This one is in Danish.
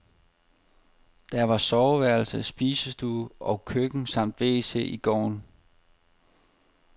Der var soveværelse, spisestue og køkken samt wc i gården.